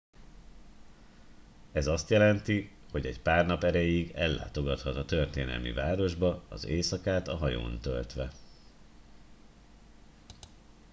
ez azt jelenti hogy egy pár nap erejéig ellátogathat a történelmi városba az éjszakát a hajón töltve